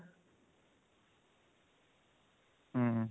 ହୁଁ